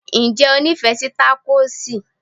Ǹjẹ́ o nífẹ̀ẹ́ sí takosì?